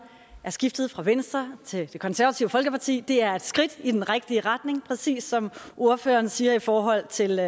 er skiftet fra venstre til det konservative folkeparti det er et skridt i den rigtige retning præcis som ordføreren siger i forhold til